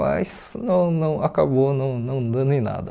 Mas não não acabou não não dando em nada.